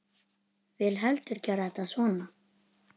Vil heldur gera þetta svona.